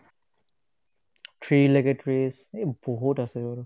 three লৈকে trees এই বহুত আছে আৰু